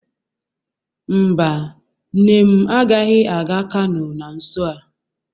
Mba, nne m agaghị aga Kano na nso a.